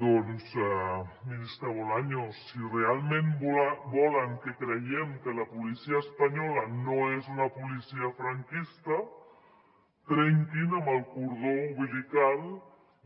doncs ministre bolaños si realment volen que creguem que la policia espanyola no és una policia franquista trenquin amb el cordó umbilical